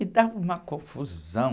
E estava uma confusão.